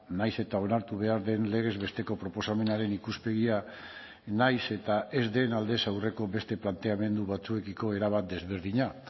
nahiz eta onartu behar den legez besteko proposamenaren ikuspegia nahiz eta ez den aldez aurreko beste planteamendu batzuekiko erabat desberdina